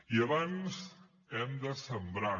i abans hem de sembrar